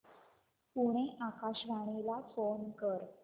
पुणे आकाशवाणीला फोन कर